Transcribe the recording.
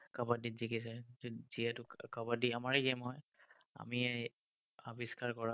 কাবাদ্দীত জিকিছে, যিহেতু কাবাদ্দী আমাৰে game হয়, আমিয়েই আবিস্কাৰ কৰা।